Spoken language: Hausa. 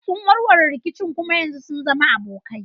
Sun warware rikicin kuma yanzu sun zama abokai.